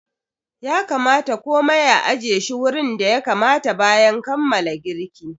Ya kamata komai a ajiye shi wurin da ya kamata bayan kammala girki.